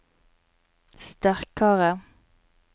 sterkare